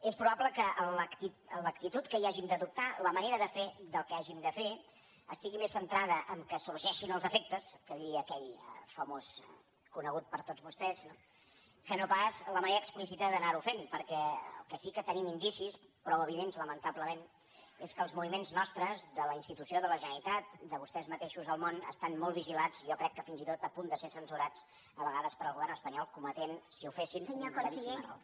és probable que l’actitud que hi hàgim d’adoptar la manera de fer del què hàgim de fer estigui més centrada que sorgeixin els efectes que diria aquell famós conegut per tots vostès no que no pas la manera explícita d’anar ho fent perquè del que sí que tenim indicis prou evidents lamentablement és que els moviments nostres de la institució de la generalitat de vostès mateixos al món estan molt vigilats jo crec que fins i tot a punt de ser censurats a vegades pel govern espanyol que cometria si ho fes un gravíssim error